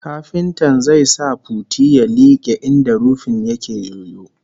Kafintan zai sa puti ya like inda rufin yake yoyo